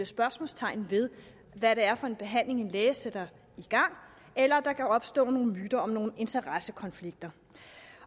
spørgsmålstegn ved hvad det er for en behandling en læge sætter i gang eller der opstår nogle myter om nogle interessekonflikter